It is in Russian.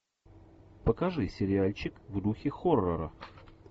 покажи сериальчик в духе хоррора